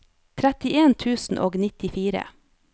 trettien tusen og nittifire